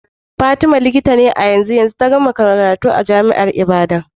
Fatima Likita ce a yanzu, ta kammala karatu a jami'ar Ibadan.